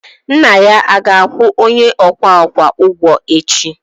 nna ya ga-akwụ onye ọkwa ọkwa echi?